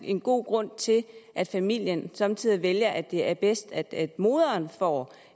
en god grund til at familien somme tider vælger at det er bedst at moderen får